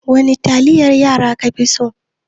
Wani taliyar yara ka fi so?